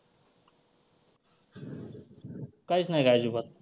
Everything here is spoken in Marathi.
कायच नाही का अजिबात.